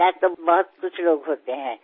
వయసులో పెద్దవారు చాలామందే ఉంటారు